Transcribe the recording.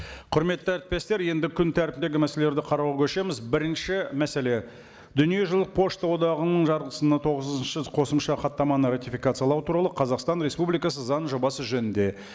құрметті әріптестер енді күн тәртібіндегі мәселелерді қарауға көшеміз бірінші мәселе дүниежүзілік пошта одағының жарғысына тоғызыншы қосымша хаттаманы ратификациялау туралы қазақстан республикасы заң жобасы жөнінде